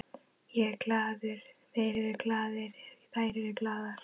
Ég er glaður, þeir eru glaðir, þær eru glaðar.